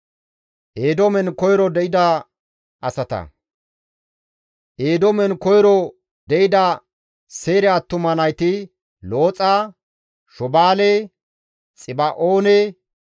Eedoomen koyro de7ida Seyre attuma nayti Looxa, Shobaale, Xiba7oone, Aana, Diisho, Exeerenne Dishaane.